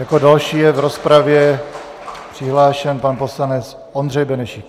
Jako další je v rozpravě přihlášen pan poslanec Ondřej Benešík.